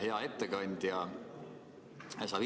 Hea ettekandja!